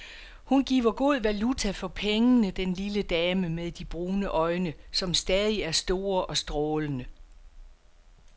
Hun giver god valuta for pengene, den lille dame med de brune øjne, som stadig er store og strålende.